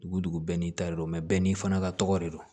Dugu dugu bɛɛ n'i ta de don bɛɛ n'i fana ka tɔgɔ de don